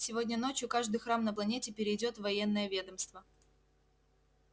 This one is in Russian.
сегодня ночью каждый храм на планете перейдёт в военное ведомство